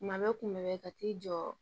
Kuma bɛ kuma bɛɛ ka t'i jɔ